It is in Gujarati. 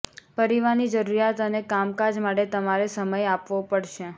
પરિવારની જરૂરિયાત અને કામકાજ માટે તમારે સમય આપવો પડશે